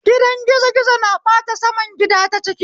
Gidan gizo gizo na bata saman gida ta ciki